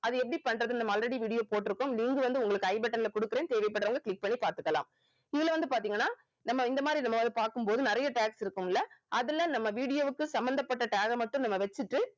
அது எப்படி பண்றதுன்னு நம்ம already video போட்டிருக்கோம் நீங்க வந்து உங்களுக்கு I button ல குடுக்குறேன் தேவைப்படுறவங்க click பண்ணி பார்த்துக்கலாம் இதுல வந்து பாத்தீங்கன்னா நம்ம இந்த மாதிரி இந்த மா~ பார்க்கும் போது நறைய tags இருக்கும் இல்ல அதுல நம்ம video வுக்கு சம்பந்தப்பட்ட tag அ மட்டும் நம்ம வெச்சிட்டு